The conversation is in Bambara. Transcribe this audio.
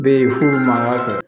Be yen f'u ma